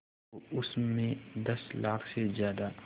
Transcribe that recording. तो उस में दस लाख से ज़्यादा